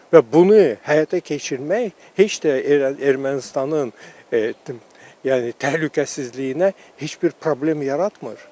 Və bunu həyata keçirmək heç də Ermənistanın yəni təhlükəsizliyinə heç bir problem yaratmır.